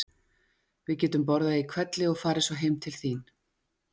Við getum borðað í hvelli og farið svo heim til þín.